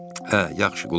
Hə, yaxşı, qulaq as.